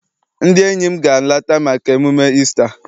Ndị enyi m ga- alata maka emume Isita.